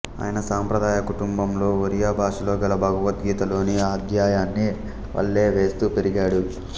ఆయన సాంప్రదాయ కుటుంబంలో ఒరియా భాషలో గల భగవద్గీత లోని అధ్యాయాన్ని వల్లె వేస్తూ పెరిగాడు